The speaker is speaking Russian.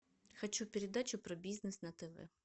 хочу передачу про бизнес на тв